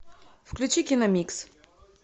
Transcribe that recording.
включи киномикс